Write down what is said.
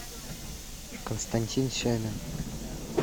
константин семин